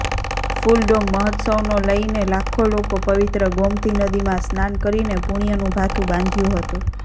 ફુલડોલ મહોત્સવનો લઇને લાખો લોકો પવિત્ર ગોમતી નદીમાં સ્નાન કરીને પૂણ્યનું ભાથું બાંધ્યુ હતુ